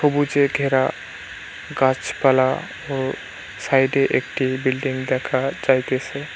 সবুজে ঘেরা গাছপালা ও সাইডে একটি বিল্ডিং দেখা যাইতেছে।